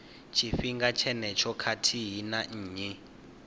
tshifhinga tshenetsho khathihi na nnyi